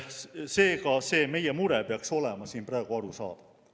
Seega, see meie mure peaks olema siin praegu arusaadav.